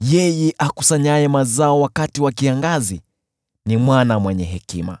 Yeye akusanyaye mazao wakati wa kiangazi ni mwana mwenye hekima,